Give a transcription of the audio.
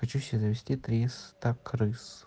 хочу себе завести триста крыс